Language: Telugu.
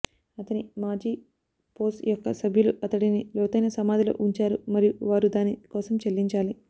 అతని మాజీ పోస్ యొక్క సభ్యులు అతడిని లోతైన సమాధిలో ఉంచారు మరియు వారు దాని కోసం చెల్లించాలి